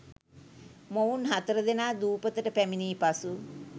මොවුන් හතරදෙනා දූපතට පැමිණි පසු